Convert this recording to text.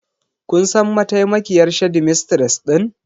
Kun san mataimakiyar shedimistres din?